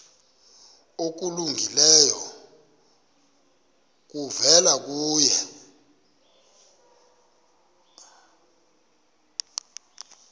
okulungileyo kuvela kuye